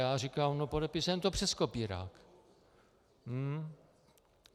Já říkám, no podepisujeme to přes kopírák.